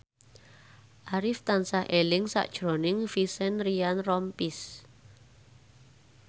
Arif tansah eling sakjroning Vincent Ryan Rompies